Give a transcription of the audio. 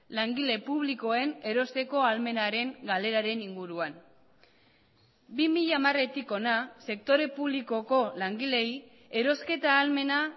langile publikoen erosteko ahalmenaren galeraren inguruan bi mila hamaretik hona sektore publikoko langileei erosketa ahalmena